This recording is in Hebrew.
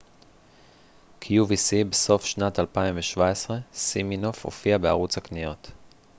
בסוף שנת 2017 סימינוף הופיע בערוץ הקניות qvc